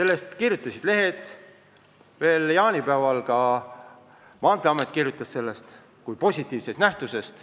Lehed andsid sellest teada ja veel jaanipäeval ka Maanteeamet kirjutas sellest kui positiivsest lahendusest.